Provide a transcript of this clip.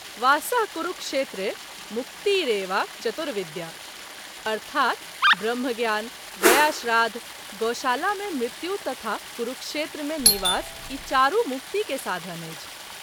वास: कुरुक्षेत्रे मुक्तिरेवा चतुर्विद्या॥ अर्थात् ब्रह्मज्ञान ,गयाश्राद्ध, गोशाला मे मृत्यु तथा कुरुक्षेत्र मे निवास- ई चारू मुक्ति के साधन अछि।